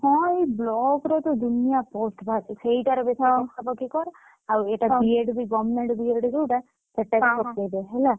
ହଁ ଏଇ block ର ତ ଦୁନିଆ post ବାହାରୁଛି ସେଇଟାରେ ବେଶୀ ପକାପକି କର ଆଉ ଏଇଟା B.Ed ବି government B.Ed ଯୋଉଟା ସେଟାବି ପକେଇଦେ ହେଲା